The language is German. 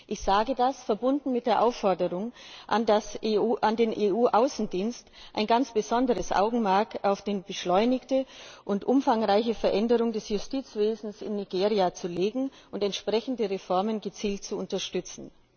Ich sage das verbunden mit der Aufforderung an den EU Außendienst, ein ganz besonderes Augenmerk auf die beschleunigte und umfangreiche Veränderung des Justizwesens in Nigeria zu legen und entsprechende Reformen gezielt zu unterstützen.